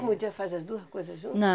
podia fazer as duas coisas juntas?